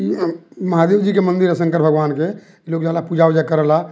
महादेव जी के मंदिर ह शंकर भगवान के लोग जला पूजा-उजा करेला।